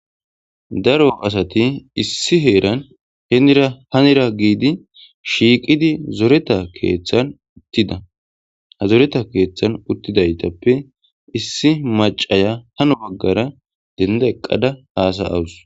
Daaro asati issi heeran hennira hannira giidi shiqqi zoretta keththan uttida ha zooretta keththan uttidaytappe issi macciya haano baggara denda eqqada hasa'awusu.